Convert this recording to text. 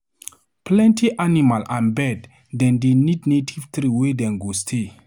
Plenty animal and bird dem dey need native tree wey dem go stay.